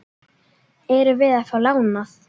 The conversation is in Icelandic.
Erum við að fá lánað?